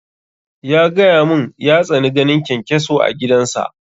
Ya gaya mun ya tsani ganin kyankyaso a gidan sa